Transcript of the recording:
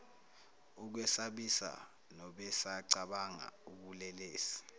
ukwesabisa nobesacabanga ubulelesi